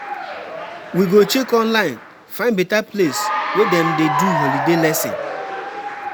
We go check online, find beta place wey dem dey do holiday lesson.